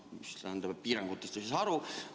Mis tähendab, et piirangutest ei saa aru.